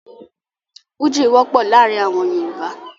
Fújì wọ́pọ̀ láàrin àwọn Yorùbá.